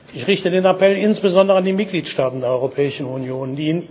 Ich richte den Appell insbesondere an die Mitgliedstaaten der Europäischen Union.